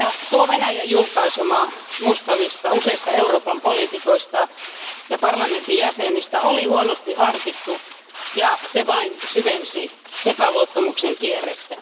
Tuo Venäjän julkaisema musta lista useista Euroopan poliitikoista ja parlamentin jäsenistä oli huonosti harkittu ja vain syvensi epäluottamuksen kierrettä.